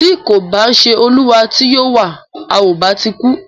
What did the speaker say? Tí kò bá ṣé olúwa tí o yọ wa,à o bá ti kú o.